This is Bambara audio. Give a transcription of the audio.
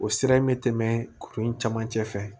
O sira in bɛ tɛmɛ kuru in camancɛ fɛ